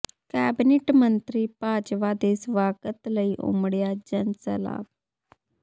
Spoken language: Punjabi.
ਕੈਬਨਿਟ ਮੰਤਰੀ ਬਾਜਵਾ ਦੇ ਸਵਾਗਤ ਲਈ ਉਮੜਿਆ ਜਨ ਸੈਲਾਬ